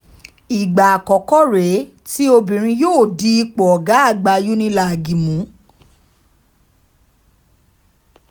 ìgbà àkọ́kọ́ rèé tí obìnrin yóò di ipò ọ̀gá àgbà unilag mú